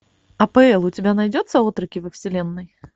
апл у тебя найдется отроки во вселенной